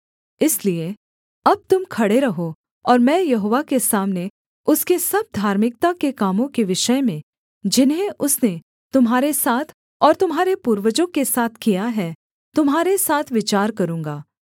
इसलिए अब तुम खड़े रहो और मैं यहोवा के सामने उसके सब धार्मिकता के कामों के विषय में जिन्हें उसने तुम्हारे साथ और तुम्हारे पूर्वजों के साथ किया है तुम्हारे साथ विचार करूँगा